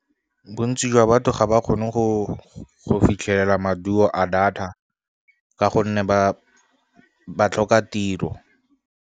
Bontsi jwa batho ga ba kgone go fitlhelela maduo a data ka gonne ba tlhoka tiro.